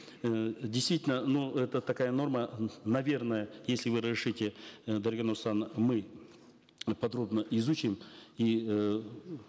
э действительно но это такая норма наверное если вы разрешите э дарига нурсултановна мы подробно изучим и э